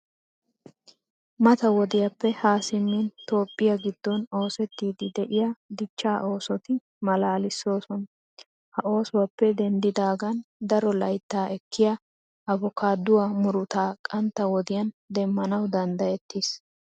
Mata wodiyappe Haa simmin toophphiya giddon oosettiiddi de'iya dichchaa oosota maalaalissoosona. Ha oosuwappe doommidaagan daro layttaa ekkiya abokaaduwa murutaa qantta wodiyan demmanawu danddayettiis.